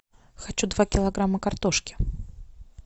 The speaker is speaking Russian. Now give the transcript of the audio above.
хочу два килограмма картошки